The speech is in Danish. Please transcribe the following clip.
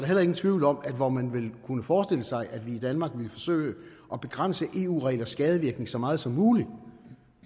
heller ingen tvivl om at hvor man vel kunne forestille sig at vi i danmark ville forsøge at begrænse eu reglers skadevirkning så meget som muligt